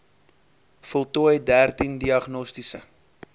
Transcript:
voltooi dertien diagnostiese